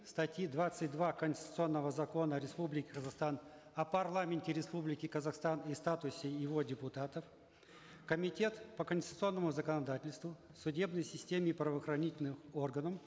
статьи двадцать два конституционного закона республики казахстан о парламенте республики казахстан и статусе его депутатов комитет по конституционному законодательству судебной системе и правоохранительным органам